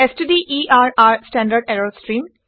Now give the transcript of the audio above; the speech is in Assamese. ষ্টডাৰৰ ষ্টেণ্ডাৰ্ড ইৰৰ ষ্ট্ৰিম